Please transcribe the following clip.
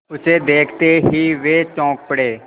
उसे देखते ही वे चौंक पड़े